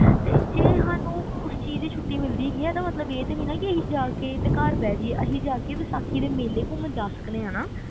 ਤੇ ਜੇ ਸਾਨੂ ਉਸ ਚੀਜ਼ ਦੀ ਛੁੱਟੀ ਮਿਲਦੀ ਜਾ ਕੇ ਤੇ ਘਰ ਬੈ ਜੀਏ ਅਸੀਂ ਜਾ ਕੇ ਵੈਸਾਖੀ ਦੇ ਮੇਲੇ ਘੁੰਮਣ ਜਾ ਸਕਦੇ ਆ ਨਾ